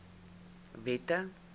wette